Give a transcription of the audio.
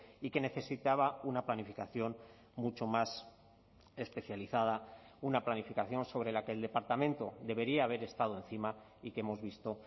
y que necesitaba una planificación mucho más especializada una planificación sobre la que el departamento debería haber estado encima y que hemos visto